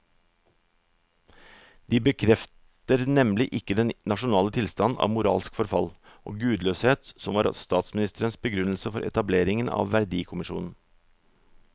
De bekrefter nemlig ikke den nasjonale tilstand av moralsk forfall og gudløshet som var statsministerens begrunnelse for etableringen av verdikommisjonen.